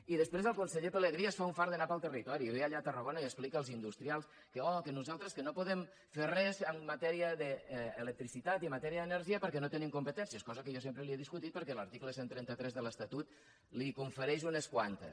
i després el conseller pelegrí es fa un fart d’anar pel territori i ve allà a tarragona i explica als industrials que oh que nosaltres que no podem fer res en matèria d’electricitat i en matèria d’energia perquè no tenim competències cosa que jo sempre li he discutit perquè l’article cent i trenta tres de l’estatut li’n confereix unes quantes